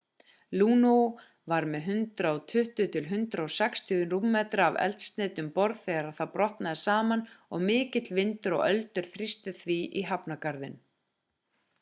luno var með 120-160 rúmmetra af eldsneyti um borð þegar það brotnaði saman og mikill vindur og öldur þrýstu því í hafnargarðinn